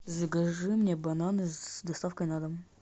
закажи мне бананы с доставкой на дом